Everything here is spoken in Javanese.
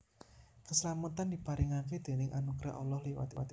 Kaslametan diparingaké déning anugrah Allah liwat Iman